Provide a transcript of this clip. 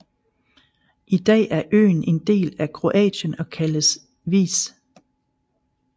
I dag er øen en del af Kroatien og kaldes Vis